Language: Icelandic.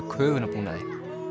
köfunarbúnaði